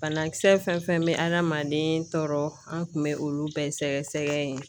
Banakisɛ fɛn fɛn bɛ adamaden tɔɔrɔ an kun bɛ olu bɛɛ sɛgɛsɛgɛ yen